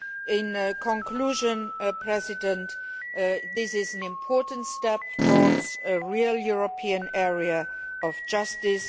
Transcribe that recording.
In conclusion, Mr President, this is an important step towards a real European area of justice.